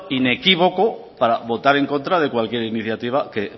inequívoco para votar en contra de cualquier iniciativa que